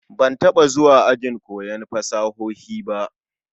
Ban taba zuwa ajin koyon fasahohi ba?